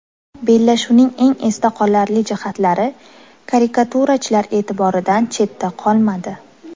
Bellashuvning eng esda qolarli jihatlari karikaturachilar e’tiboridan chetda qolmadi.